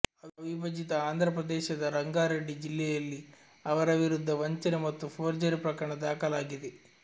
ಅವಿಭಜಿತ ಆಂಧ್ರಪ್ರದೇಶದ ರಂಗಾರೆಡ್ಡಿ ಜಿಲ್ಲೆಯಲ್ಲಿ ಅವರ ವಿರುದ್ಧ ವಂಚನೆ ಮತ್ತು ಫೋರ್ಜರಿ ಪ್ರಕರಣ ದಾಖಲಾಗಿದೆ